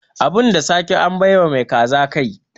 Abin da sake, an bai wa mai kaza kai.